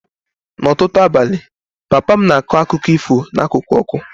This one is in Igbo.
N'ọtụtụ abalị, papa m na-akọ akụkọ ifo n'akụkụ ọkụ